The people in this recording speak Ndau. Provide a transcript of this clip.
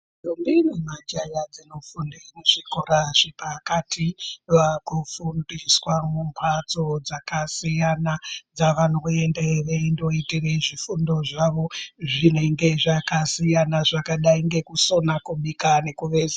Ndombi nemajaya dzinofunde muzvikora zvepakati vakufundiswa mumphatso dzakasiyana dzavanoende veindoite zvifundo zvavo zvinenge zvakasiyana zvakadai ngekusona kubika nekuveza.